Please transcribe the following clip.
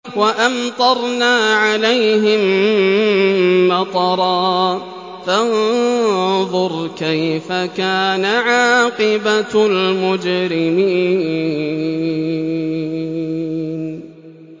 وَأَمْطَرْنَا عَلَيْهِم مَّطَرًا ۖ فَانظُرْ كَيْفَ كَانَ عَاقِبَةُ الْمُجْرِمِينَ